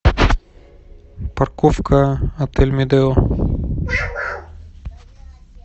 парковка отель медео